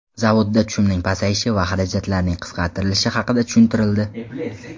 Zavodda tushumning pasayishi va xarajatlarning qisqartirilishi haqida tushuntirildi.